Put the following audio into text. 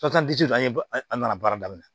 an ye an nana baara daminɛ